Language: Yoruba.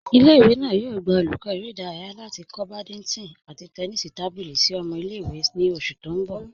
Ìlẹ̀-ìwé náà yóò gbà olùkọ̀ èrè̀ idáràyà láti kọ̀ bádìntọ̀n àti tẹ́nísì tábílì sí ọmọ̀ ìlẹ̀-ìwé ní oṣù tí n bọ̀.